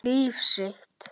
Líf sitt.